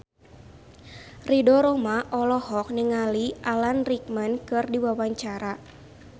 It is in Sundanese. Ridho Roma olohok ningali Alan Rickman keur diwawancara